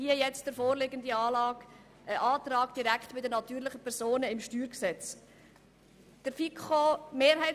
Hier liegt nun ein solcher Antrag direkt zum StG vor.